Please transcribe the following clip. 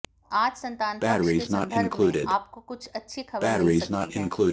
आज संतान पक्ष के सन्दर्भ में आपको कुछ अच्छी खबर मिल सकती है